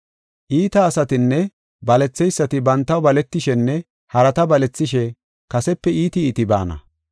Iita asatinne baletheysati bantaw baletishenne harata balethishe kasepe iiti iiti baana.